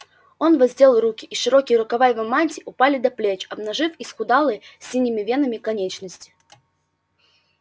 он воздел руки и широкие рукава его мантии упали до плеч обнажив исхудалые с синими венами конечности